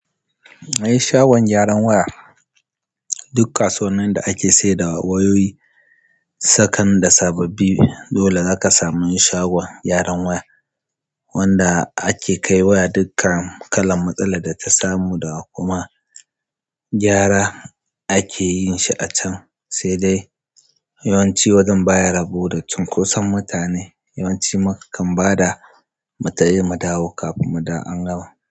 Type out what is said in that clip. Ai shagon gyaran waya duk kasuwanninda ake saida wayoyi, sakan da sababbi dole zaka samu shagon gyaran waya wanda ake kai waya dukkan kalan matsalar da ta samu da kuma gyara ake yin shi a can, sai dai yawanci wajen baya rabo da cunkoson mutane. Yawanci ma kakan bada mu tafi mudawo kafin mudawo an gama.